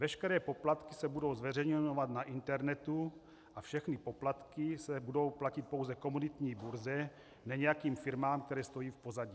Veškeré poplatky se budou zveřejňovat na internetu a všechny poplatky se budou platit pouze komoditní burze, ne nějakým firmám, které stojí v pozadí.